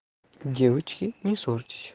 девочки не ссорьтесь